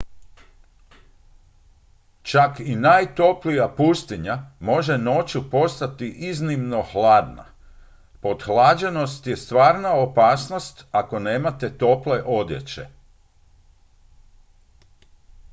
čak i najtoplija pustinja može noću postati iznimno hladna pothlađenost je stvarna opasnost ako nemate tople odjeće